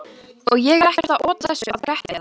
Og ég er ekkert að ota þessu að Gretti eða